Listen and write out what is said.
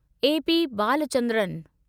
A P Balachandran